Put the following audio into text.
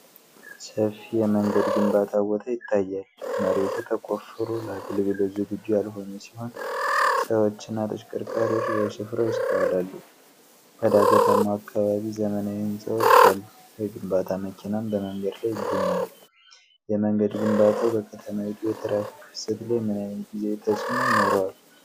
ሰፊ የመንገድ ግንባታ ቦታ ይታያል። መሬቱ ተቆፍሮ ለአገልግሎት ዝግጁ ያልሆነ ሲሆን፣ ሰዎችና ተሽከርካሪዎች በስፍራው ይስተዋላሉ። በዳገታማው አካባቢ ዘመናዊ ህንፃዎች አሉ፤ የግንባታ መኪናም በመንገድ ላይ ይገኛል። የመንገድ ግንባታው በከተማይቱ የትራፊክ ፍሰት ላይ ምን ዓይነት ጊዜያዊ ተጽዕኖ ይኖረዋል?